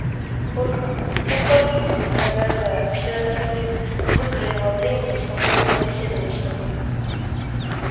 только только обидно моя дорогая что я так и не выкроила времени спокойно побеседовать с тобой